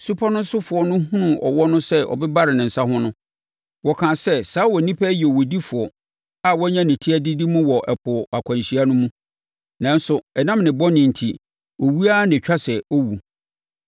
Supɔ no sofoɔ no hunuu ɔwɔ no sɛ ɔbebare ne nsa ho no, wɔkaa sɛ, “Saa onipa yi yɛ owudifoɔ a wanya ne ti adidi mu wɔ ɛpo akwanhyia mu, nanso ɛnam ne bɔne enti, owuo ara na ɛtwa sɛ ɔwu.”